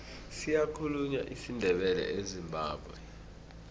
siyakhulunywa isindebele ezimbabwe